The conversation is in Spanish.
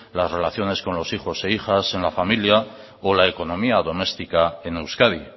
las relaciones con los hijos e hijas en la familia o la economía doméstica en euskadi